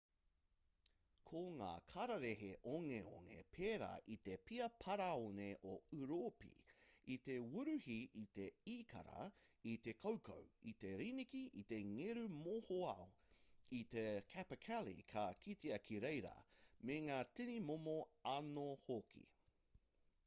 ko ngā kararehe ongeonge pērā i te pia parāone o ūropi i te wuruhi i te īkara i te koukou i te riniki i te ngeru mohoao i te capercaillie ka kitea ki reira me ngā tini momo anō hoki